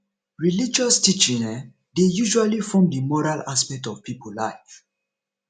religious teaching um dey usually form di moral aspect of pipo life